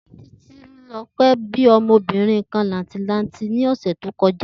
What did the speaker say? Títílo̩pé̩ bí o̩mo̩bìnrin làǹtìlanti kan ní ò̩sè̩ tó ko̩já